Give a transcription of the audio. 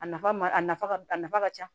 A nafa ma a nafa ka a nafa ka ca